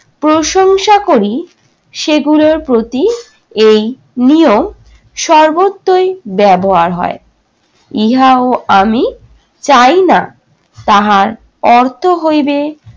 প্রশংসা করি সেগুলোর প্রতি এই নিয়ম সর্বোত্তই ব্যবহার হয়। ইহাও আমি চাই না, তাহার অর্থ হইবে